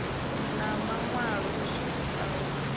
na maṋwalo o swikiswaho u